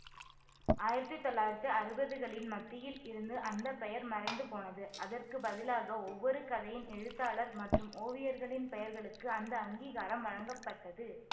ஆயிரத்தி தொள்ளாயிரத்தி அறுவதுகளின் மத்தியில் இருந்து அந்த பெயர் மறைந்து போனது அதற்கு பதிலாக ஒவ்வொரு கதையின் எழுத்தாளர் மற்றும் ஓவியர்களின் பெயர்களுக்கு அந்த அங்கீகாரம் வழங்கப்பட்டது